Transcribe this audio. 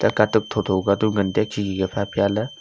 la katuk tho tho ka tu ngan taiya khi khi ka phai apia ley.